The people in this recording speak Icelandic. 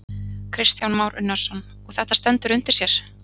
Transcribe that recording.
Kristján Már Unnarsson: Og þetta stendur undir sér?